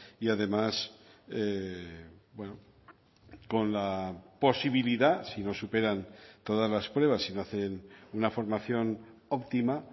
y además con la posibilidad si no superan todas las pruebas si no hacen una formación optima